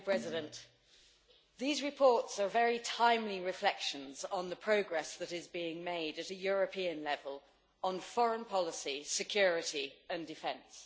Madam President, these reports are very timely reflections on the progress that is being made at a European level on foreign policy, security and defence.